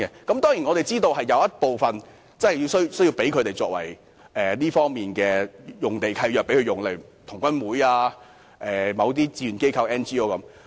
當然，我們知道有部分土地因為土地契約規定而作有關用途，例如香港童軍總會、志願機構和 NGO 的用地等。